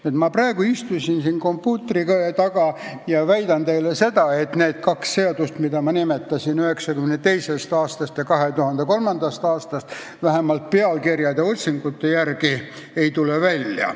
Ma istusin kõne ettevalmistamiseks kompuutri taha ja väidan nüüd teile, et need kaks seadust, mida ma nimetasin, üks 1992. aastast ja teine 2003. aastast, vähemalt pealkirjade otsingute järgi ei tule välja.